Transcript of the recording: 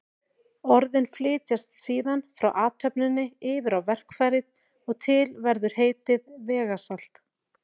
Orðin flytjast síðan frá athöfninni yfir á verkfærið og til verður heitið vegasalt.